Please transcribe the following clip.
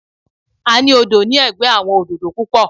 A ní odò ní ẹ̀gbẹ́ àwọn òdòdó púpọ̀.